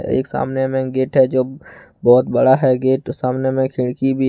एक सामने में गेट हैं जो बहोत बड़ा है गेट सामने में खिड़की भी--